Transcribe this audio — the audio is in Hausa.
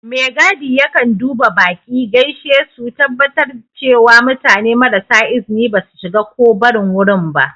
Megadi yakan duba baƙi, gaishe su, tabbatar cewa mutane marasa izini ba su shiga ko barin wurin ba.